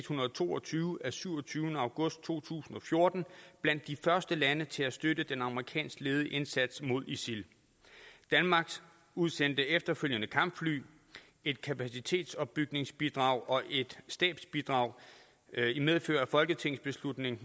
hundrede og to og tyve af syvogtyvende august to tusind og fjorten blandt de første lande til at støtte den amerikansk ledede indsats mod isil danmark udsendte efterfølgende kampfly et kapacitetsopbygningsbidrag og et stabsbidrag i medfør af folketingsbeslutning